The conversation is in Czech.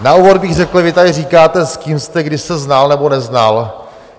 Na úvod bych řekl, vy tady říkáte, s kým jste kdy se znal nebo neznal.